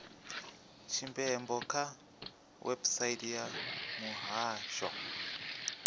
tshipembe kha website ya muhasho